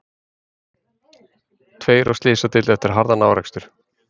Tveir á slysadeild eftir harðan árekstur